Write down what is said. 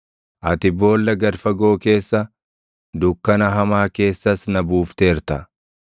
Ati boolla gad fagoo keessa, dukkana hamaa keessas na buufteerta.